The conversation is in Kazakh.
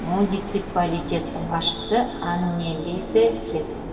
муниципалитеттің басшысы аннелизе хес